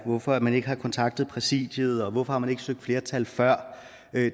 hvorfor man ikke har kontaktet præsidiet og hvorfor man ikke har søgt flertal før